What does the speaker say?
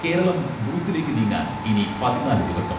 കേരളം ബൂത്തിലേക്ക് നീങ്ങാൻ ഇനി പതിനാല് ദിവസം.